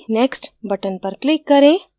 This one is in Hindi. next button पर click करें